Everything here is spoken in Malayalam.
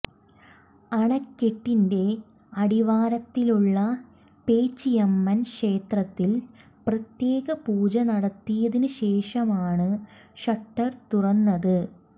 അണക്കെട്ടിന്റെ അടിവാരത്തിലുള്ള പേച്ചിയമ്മൻ ക്ഷേത്രത്തിൽ പ്രത്യേക പൂജ നടത്തിയതിനുശേഷമാണ് ഷട്ടർ തുറന്നത്